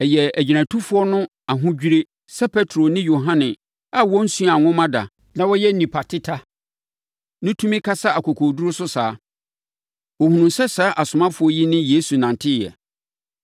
Ɛyɛɛ agyinatufoɔ no ahodwirie sɛ Petro ne Yohane a wɔnsuaa nwoma da na wɔyɛ nnipa teta no tumi kasa akokoɔduru so saa. Wɔhunuu sɛ saa asomafoɔ yi ne Yesu nanteeɛ.